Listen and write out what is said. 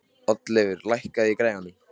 Oddleifur, lækkaðu í græjunum.